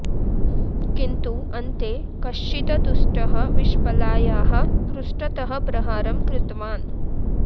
किन्तु अन्ते कश्चित् दुष्टः विश्पलायाः पृष्ठतः प्रहारं कृतवान्